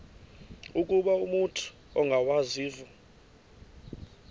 ukuba umut ongawazivo